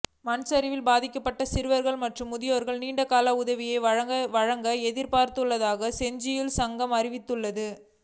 மண்சரிவில் பாதிக்கப்பட்ட சிறுவர்கள் மற்றும் முதியவர்களுக்கு நீண்ட கால உதவிகளை வழங்க எதிர்பார்த்துள்ளதாக செஞ்சிலுவை சங்கம் அறிவித்துள்ளது